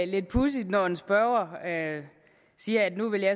lidt pudsigt når en spørger siger at nu vil